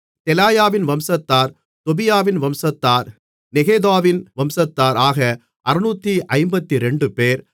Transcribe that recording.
தெலாயாவின் வம்சத்தார் தொபியாவின் வம்சத்தார் நெகோதாவின் வம்சத்தார் ஆக 652 பேர்